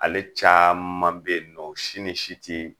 Ale caman be yen nɔ si ni si ti